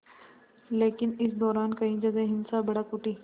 लेकिन इस दौरान कई जगह हिंसा भड़क उठी